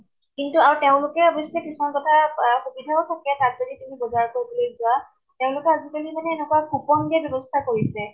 কিন্তু আৰু তেওঁলোকে অৱ্শ্য়ে কিছুমান কথা পা সুবিধাও সুকীয়া তাত যদি তুমি বজাৰ কৰিবলৈ যোৱা, তেওঁলোকৰ আজি কালি মানে এনেকুৱা coupon দিয়াৰ ব্য়ৱস্থা কৰিছে।